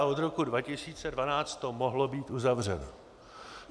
A od roku 2012 to mohlo být uzavřeno.